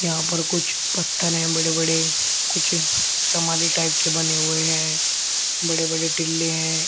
यहाँ पर कुछ पत्थर हैं बड़े-बड़े कुछ समाधि टाइप के बने हुए हैं बड़े-बड़े टिल्ले हैं।